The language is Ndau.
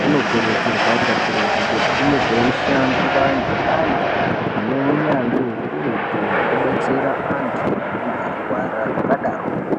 kuno kurudzirwa ka kurutu kuti kunge kwei shandwa nge antu ane unyanzvi ukurutu hweku detsera antu anenge eyi rwara zvaka daroko.